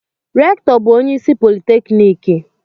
Rektọ bu onye isi politekniki.